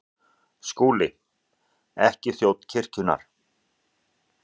SKÚLI: Ekki þjón kirkjunnar.